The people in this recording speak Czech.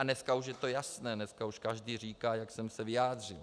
A dneska už je to jasné, dneska už každý říká, jak jsem se vyjádřil.